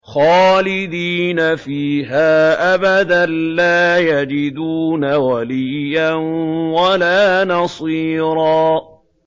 خَالِدِينَ فِيهَا أَبَدًا ۖ لَّا يَجِدُونَ وَلِيًّا وَلَا نَصِيرًا